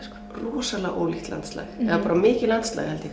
rosalega ólíkt landslag eða bara mikið landslag held ég